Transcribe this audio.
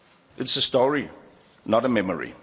It's a story, not a memory.